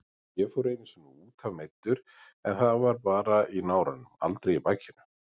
Ég fór einu sinni útaf meiddur en það var bara í náranum, aldrei í bakinu.